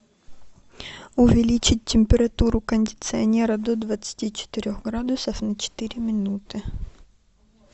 увеличить температуру кондиционера до двадцати четырех градусов на четыре минуты